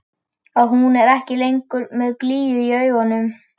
Að hún er ekki lengur með glýju í augunum.